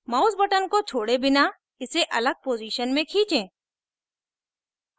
mouse button को छोड़े बिना इसे अलग position में खींचें